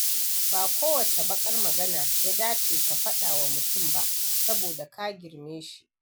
Ba kowace baƙar magana ya dace ka faɗa wa mutum ba saboda ka girme shi.